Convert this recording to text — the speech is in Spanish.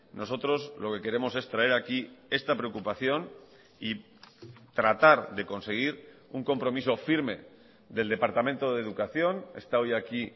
nosotros lo que queremos es traer aquí esta preocupación y tratar de conseguir un compromiso firme del departamento de educación está hoy aquí